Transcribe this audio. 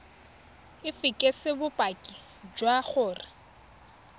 o fekese bopaki jwa gore